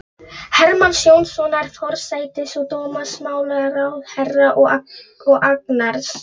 Hermanns Jónassonar, forsætis- og dómsmálaráðherra, og Agnars